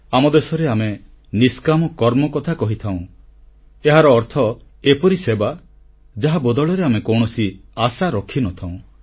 ଆମ ଦେଶରେ ଆମେ ନିଷ୍କାମ କର୍ମ କଥା କହିଥାଉଁ ଏହାର ଅର୍ଥ ଏପରି ସେବା ଯାହା ବଦଳରେ ଆମେ କୌଣସି ଆଶା ରଖିନଥାଉଁ